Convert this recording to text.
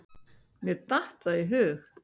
Mér datt það í hug.